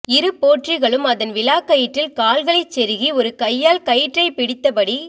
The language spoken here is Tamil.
இரு போற்றிகளும் அதன் விலாக்கயிற்றில் கால்களைச் செருகி ஒரு கையால் கயிற்றைப் பிடித்தபடி